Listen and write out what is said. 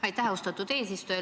Aitäh, austatud eesistuja!